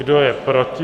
Kdo je proti?